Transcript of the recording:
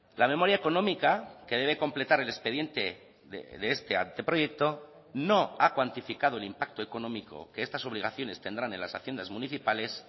la memoria económica que debe completar el expediente de este anteproyecto no ha cuantificado el impacto económico que estas obligaciones tendrán en las haciendas municipales